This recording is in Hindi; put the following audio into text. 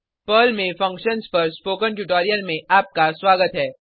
पर्ल में फंक्शन्स पर स्पोकन ट्यूटोरियल में आपका स्वागत है